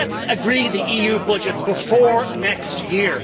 Let's agree the EU budget before next year.